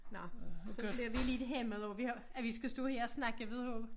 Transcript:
Nå så bliver vi lidt hæmmet af vi har at vi skal stå her og snakke videre